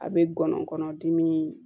A bɛ gɔnɔ kɔnɔdimi